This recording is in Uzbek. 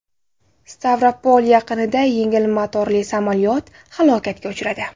Stavropol yaqinida yengil motorli samolyot halokatga uchradi.